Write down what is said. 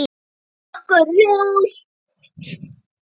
Þetta er rokk og ról.